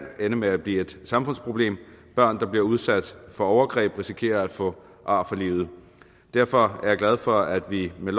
ende med at blive et samfundsproblem børn der bliver udsat for overgreb risikerer at få ar for livet derfor er jeg glad for at vi med